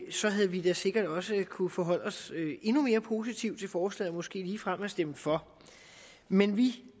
så havde vi da sikkert også kunnet forholde os endnu mere positivt til forslaget og måske ligefrem have stemt for men vi